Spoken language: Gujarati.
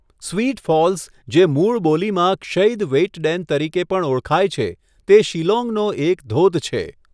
સ્વીટ ફોલ્સ, જે મૂળ બોલીમાં ક્ષૈદ વેઇટડેન તરીકે પણ ઓળખાય છે, તે શિલોંગનો એક ધોધ છે.